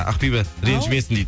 ақбибі реңжімесің дейді